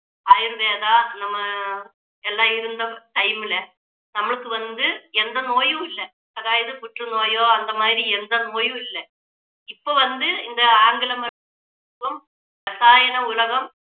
ஆயுர்வேதா நம்ம அஹ் எல்லாம் இருந்த time ல நம்மளுக்கு வந்து எந்த நோயும் இல்லை அதாவது புற்றுநோயோ அந்த மாதிரி எந்த நோயும் இல்லை இப்போ வந்து இந்த ஆங்கில மருத்துவம் ரசாயன உலகம்